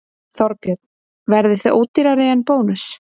Þorbjörn: Verðið þið ódýrari en Bónus?